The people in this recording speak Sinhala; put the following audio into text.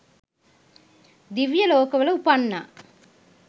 දිව්‍ය ලෝකවල උපන්නා.